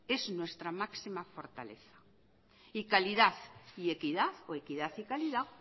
es nuestra máxima fortaleza y calidad y equidad o equidad y calidad